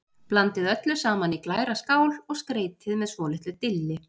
Blandið öllu saman í glæra skál og skreytið með svolitlu dilli.